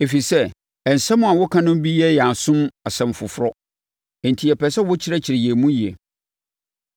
ɛfiri sɛ, nsɛm a woka no bi yɛ yɛn asom asɛm foforɔ, enti yɛpɛ sɛ wokyerɛkyerɛ yɛn mu yie.”